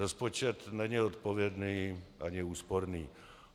Rozpočet není odpovědný ani úsporný.